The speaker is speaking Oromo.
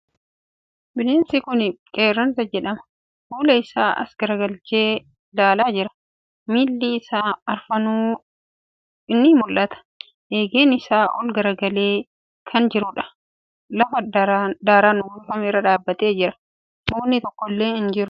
Bineensi kuni Qeerransa jedhama. Fuula isaa as garagalchee ilaalaa jira. Miilli isaa afranuu ni mul'ata. Eegen isaa ol garagalee kan jiruudha. Lafa daaran uwwifame irra dhaabbatee jira. Mukni tokkollee hin jiru.